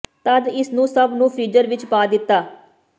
ਤਦ ਇਸ ਨੂੰ ਸਭ ਨੂੰ ਫ਼੍ਰੀਜ਼ਰ ਵਿੱਚ ਪਾ ਦਿੱਤਾ